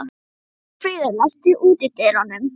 Arnfríður, læstu útidyrunum.